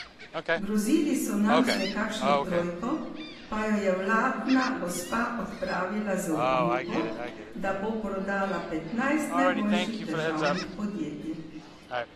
Grozili so nam z nekakšno trojko, pa jo je vladna gospa odpravila z obljubo, da bo prodala petnajst najboljših državnih podjetij.